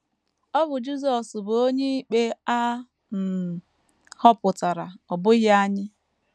Ọ bụ Jisọs bụ onyeikpe a um họpụtara; ọ bụghị anyị.